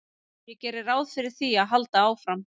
Ég geri ráð fyrir því að halda áfram.